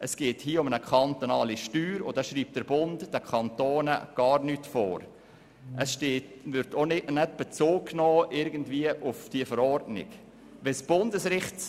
Doch hier geht es um eine kantonale Steuer und da schreibt der Bund den Kantonen gar nichts vor, und in unserem Gesetz wird keinerlei Bezug auf diese Verordnung genommen.